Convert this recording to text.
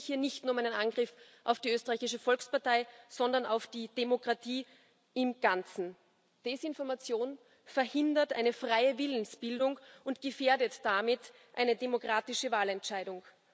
Es geht nämlich hier nicht nur um einen Angriff auf die Österreichische Volkspartei, sondern auf die Demokratie im Ganzen. Desinformation verhindert eine freie Willensbildung und gefährdet damit eine demokratische Wahlentscheidung.